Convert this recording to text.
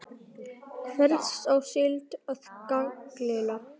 Hvers á síldin að gjalda?